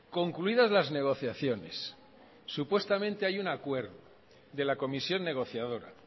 concluidas las negociaciones supuestamente hay un acuerdo de la comisión negociadora